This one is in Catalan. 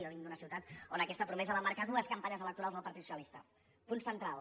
jo vinc d’una ciutat on aquesta promesa va marcar dues campanyes electorals del partit socialista punt central